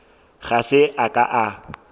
ga se a ka a